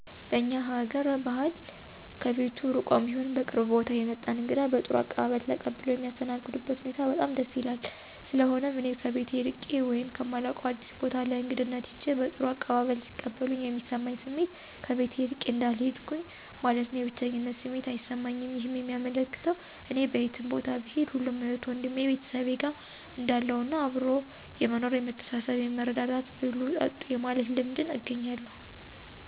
በእኛ ሀገአር ባህል ከቤቱ ርቆም ይሁን ከቅርብ ቦታ የመጣን እንግዳ በጥሩ አቀባበል ተቀብለው የሚያስተናግዱበት ሁኔታ በጣም ደስ ይላል። ስለሆነም እኔ ከቤቴ እርቄ ወይም ከማላውቀው አዲስ ቦታ ለእግድነት ሂጀ በጥሩ አቀባበል ሲቀበሉኝ የሚሰማኝ ስሜት ከቤቴ እርቄ እንዳልሄድሁኝ ማለትም የብቸኝነት ስሜት አይሰማኝም ይህም የሚያመለክተው እኔ በየትም ቦታ ብሄድ ሁሉም እህቴ ወንድሜ(ቤተሰቤ)ጋር እንዳለሁ እና አብሮ የመኖር የመተሳሰብ የመረዳዳት፣ ብሉ ጠጡ የማለት ልምድንም አገኛለሁ።